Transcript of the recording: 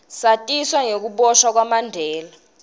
satiswa nengukiboshwa kwamandela